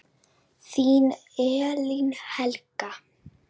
Þín Elín Helga.